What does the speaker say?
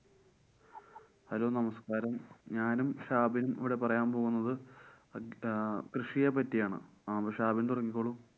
hello നമസ്കാരം ഞാനും ഷാബിന്‍ ഇവിടെ പറയാന്‍ പോകുന്നത് കൃഷിയെ പറ്റിയാണ്. ആഹ് ഷാബിന്‍ തുടങ്ങിക്കോളൂ.